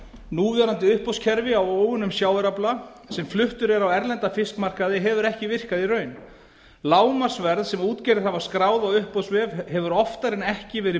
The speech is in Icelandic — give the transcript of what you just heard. núverandi uppboðskerfi á óunnum sjávarafla sem fluttur er á erlenda fiskmarkaði hefur ekki virkað í raun lágmarksverð sem útgerðir hafa skráð á uppboðsvef hefur oftar en ekki verið